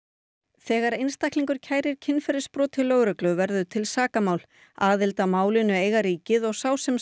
þegar einstaklingur kærir kynferðisbrot til lögreglu verður til sakamál aðild að málinu eiga ríkið og sá sem